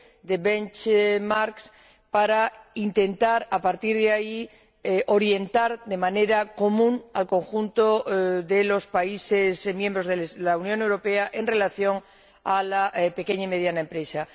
de para intentar, a partir de ahí, orientar de manera común al conjunto de los países miembros de la Unión Europea en relación con la pequeña y mediana empresa.